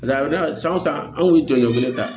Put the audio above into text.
a daminɛ san o san anw kun ye jɔli ta